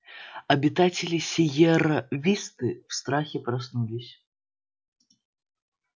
обитатели сиерра висты в страхе проснулись